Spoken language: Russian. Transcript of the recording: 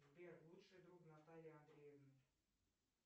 сбер лучший друг натальи андреевной